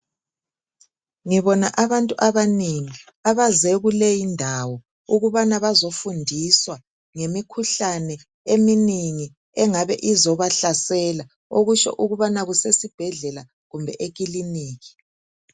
Ngibona abantu abanengi abaze kule indawo ukubana bazofundiswa ngemikhuhlane eminengi engabe izobahlasela. Okutsho ukubana kusesibhedlela kumbe ekiliniki.